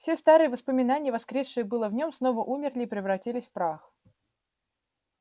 все старые воспоминания воскресшие было в нём снова умерли и превратились в прах